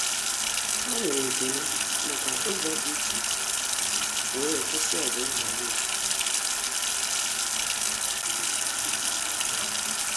Há nwéré ekele màkà ụ́zọ́ dị́ iche iche wee kwụ́sị́ ọ́gụ́ nhọrọ ndụ.